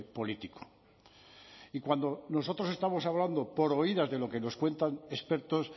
político y cuando nosotros estamos hablando por oídas de lo que nos cuentan expertos